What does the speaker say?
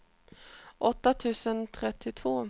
åtta tusen trettiotvå